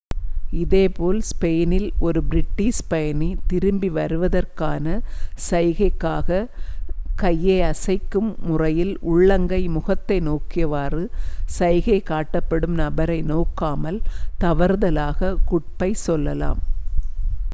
இதேபோல் ஸ்பெயினில் ஒரு பிரிட்டிஷ் பயணி திரும்பி வருவதற்கான சைகையாகக் கையை அசைக்கும் முறையில் உள்ளங்கை முகத்தை நோக்கியவாறு சைகை காட்டப்படும் நபரை நோக்காமல் தவறுதலாகக் குட்-பை சொல்லலாம்